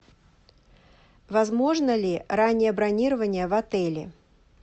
возможно ли раннее бронирование в отеле